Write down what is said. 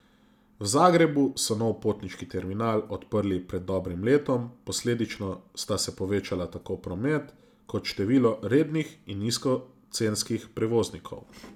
V Zagrebu so nov potniški terminal odprli pred dobrim letom, posledično sta se povečala tako promet kot število rednih in nizkocenskih prevoznikov.